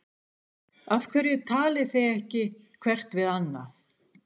Af hverju talið þið ekki hvert við annað?